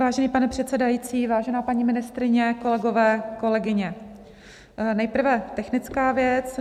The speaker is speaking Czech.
Vážený pane předsedající, vážená paní ministryně, kolegové, kolegyně, nejprve technická věc.